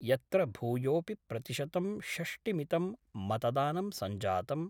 यत्र भूयोऽपि प्रतिशतं षष्टिमितं मतदानं संजातम्।